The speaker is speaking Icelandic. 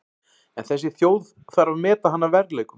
En þessi þjóð þarf að meta hann að verðleikum.